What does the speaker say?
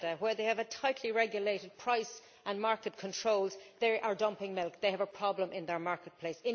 In Canada, where they have tightly regulated price and market controls, they are dumping milk. They have a problem in their marketplace.